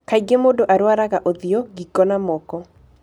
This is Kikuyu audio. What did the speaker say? Kaingĩ mũndũ arwaraga ũthiũ, ngingo, na moko.